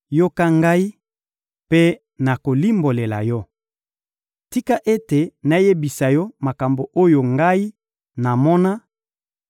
Yoka ngai, mpe nakolimbolela yo! Tika ete nayebisa yo makambo oyo ngai namona,